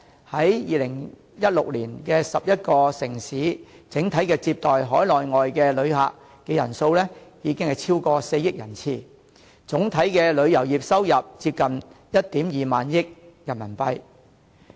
在2016年 ，11 個城市整體接待海內外旅客人數已經超過4億人次，總體旅遊業收入接近1萬 2,000 億元人民幣。